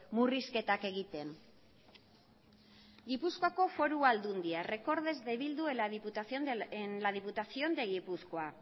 murrizketak egiten gipuzkoako foru aldundia recortes de bildu en la diputación de gipuzkoa